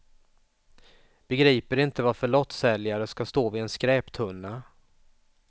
Begriper inte varför lottsäljare ska stå vid en skräptunna.